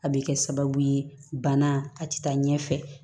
A bɛ kɛ sababu ye bana a tɛ taa ɲɛ fɛ